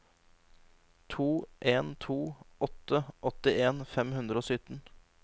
to en to åtte åttien fem hundre og sytten